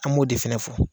An b'o de fɛnɛ fɔ